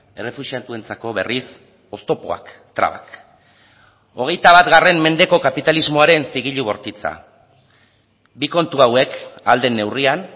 errefuxiatuentzako berriz oztopoak trabak hogeita bat mendeko kapitalismoaren zigilu bortitza bi kontu hauek ahal den neurrian